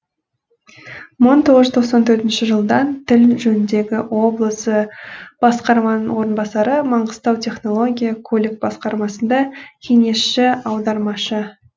мың тоғыз жүз тоқсан төртінші жылдан тіл жөніндегі облысы басқарманың орынбасары маңғыстау технология көлік басқармасында кеңесші аудармашы